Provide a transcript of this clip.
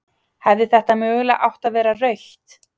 Hefði þetta mögulega átt að vera rautt?